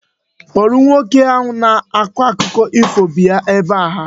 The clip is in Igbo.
Kpọrọ nwoke na-akọ akụkọ ifo bịa ebe a!